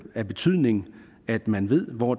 af betydning at man ved hvor